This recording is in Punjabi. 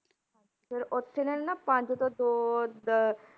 ਫਿਰ ਉੱਥੇ ਇਹਨਾਂ ਨੇ ਨਾ ਪੰਜ ਤੋਂ ਦੋ ਦ~